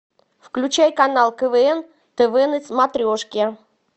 включай канал квн тв на смотрешке